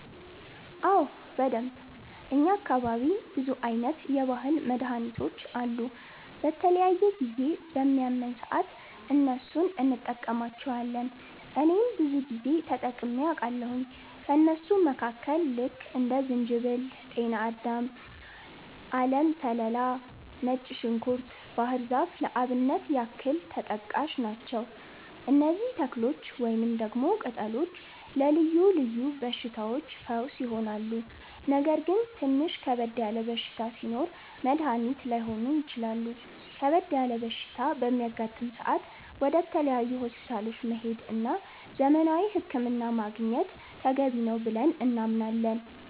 አዎ በደንብ፣ እኛ አካባቢ ብዙ አይነት የባህል መድሀኒቶች አሉ። በተለያየ ጊዜ በሚያመን ሰአት እነሱን እንቀማለቸዋለን እኔም ብዙ ጊዜ ተጠቅሜ አቃለሁኝ። ከእነሱም መካከል ልክ እንደ ዝንጅበል፣ ጤናዳም፣ አለም ሰላላ፣ ነጭ ዝንኩርት፣ ባህር ዛፍ ለአብነት ያክል ተጠቃሽ ናቸው። እነዚህ ተክሎች ወይንም ደግሞ ቅጠሎች ለልዮ ልዮ በሽታዎች ፈውስ ይሆናሉ። ነገር ግን ትንሽ ከበድ ያለ በሽታ ሲኖር መድኒት ላይሆኑ ይችላሉ ከበድ ያለ በሽታ በሚያጋጥም ሰአት ወደ ተለያዩ ሆስፒታሎች መሄድ እና ዘመናዊ ህክምና ማግኘት ተገቢ ነው ብለን እናምናለን።